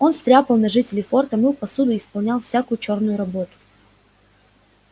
он стряпал на жителей форта мыл посуду и исполнял всякую чёрную работу